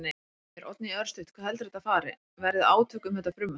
Heimir: Oddný, örstutt, hvað heldurðu að þetta fari, verði átök um þetta frumvarp?